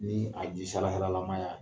Ni a ji sala salalama y'a ye